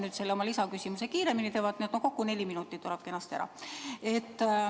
Püüan oma lisaküsimuse kiiremini küsida, nii et kokku tuleks kenasti neli minutit.